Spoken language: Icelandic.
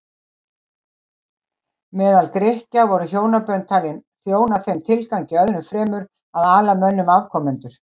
Meðal Grikkja voru hjónabönd talin þjóna þeim tilgangi öðrum fremur að ala mönnum afkomendur.